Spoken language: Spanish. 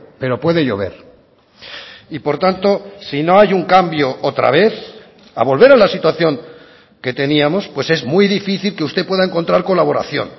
pero puede llover y por tanto si no hay un cambio otra vez a volver a la situación que teníamos pues es muy difícil que usted pueda encontrar colaboración